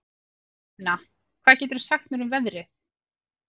Finna, hvað geturðu sagt mér um veðrið?